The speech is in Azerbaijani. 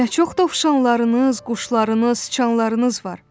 "Nə çox dovşanlarınız, quşlarınız, sıçanlarınız var!